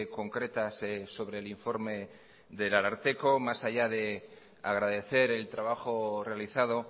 concretas sobre el informe del ararteko más allá de agradecer el trabajo realizado